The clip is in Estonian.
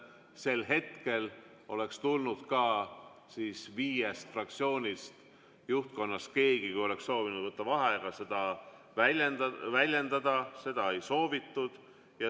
Sel hetkel oleks tulnud ka viiest fraktsiooni juhtkonnast kellelgi, kui oleks soovitud võtta vaheaega, seda väljendada, seda ei soovitud.